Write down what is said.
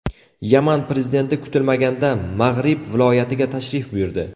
Yaman prezidenti kutilmaganda Mag‘rib viloyatiga tashrif buyurdi.